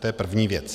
To je první věc.